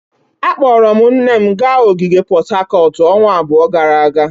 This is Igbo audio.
Akpọrọ m nne m gaa ogige Pot Tarcot ọnwa abụọ gara aga.